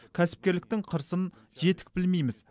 кәсіпкерліктің қыр сын жетік білмейміз